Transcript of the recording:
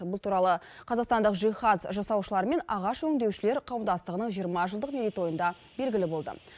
бұл туралы қазақстандық жиһаз жасаушылар мен ағаш өңдеушілер қауымдастығының жиырма жылдық мерейтойында белгілі болды